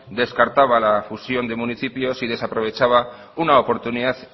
descartaba la fusión de municipios y desaprovechaba una oportunidad